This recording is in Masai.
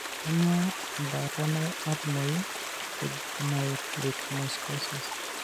Kainyio embaata natumoyu tejuvenile retinoschisis?